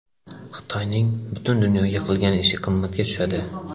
Xitoyning butun dunyoga qilgan ishi qimmatga tushadi.